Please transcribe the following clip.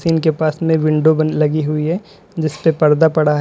इनके पास में विंडो बंद लगी हुई है जिसपे पर्दा पड़ा है।